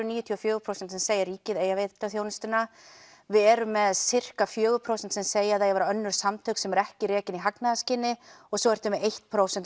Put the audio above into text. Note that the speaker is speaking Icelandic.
níutíu og fjögur prósent sem segja að ríkið eigi að veita þjónustuna við erum með fjögur prósent sem segja að það eigi að vera önnur samtök sem eru ekki rekin í hagnaðarskyni og svo ertu með eitt prósent